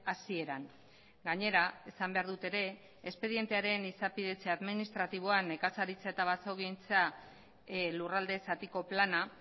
hasieran gainera esan behar dut ere espedientearen izapidetze administratiboan nekazaritza eta basogintza lurralde zatiko plana